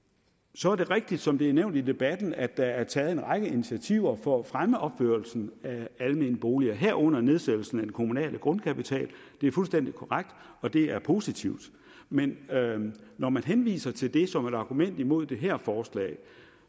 så er det rigtigt som det er blevet nævnt i debatten at der er taget en række initiativer for at fremme opførelsen af almene boliger herunder nedsættelsen af den kommunale grundkapital det er fuldstændig korrekt og det er positivt men når man henviser til det som et argument imod det her forslag